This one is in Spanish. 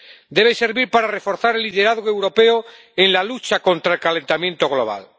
debe servir para reforzar el liderazgo europeo en la lucha contra el calentamiento global.